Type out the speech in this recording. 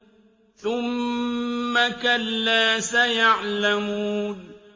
ثُمَّ كَلَّا سَيَعْلَمُونَ